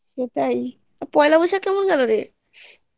সেটাই পয়লা বৈশাখ কেমন গেলোরে